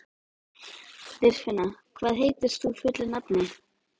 Dýrfinna, hvað heitir þú fullu nafni?